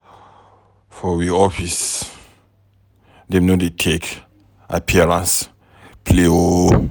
For we office, dem no dey take appearance play o.